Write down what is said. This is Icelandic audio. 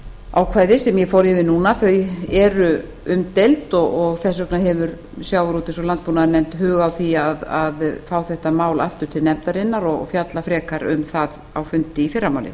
ákvæði sem ég fór yfir núna eru umdeild og þess vegna hefur sjávarútvegs og landbúnaðarnefnd hug á því að fá þetta mál aftur til nefndarinnar og fjalla frekar um það á fundi í fyrramálið